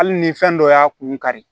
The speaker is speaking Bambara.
Hali ni fɛn dɔ y'a kun kari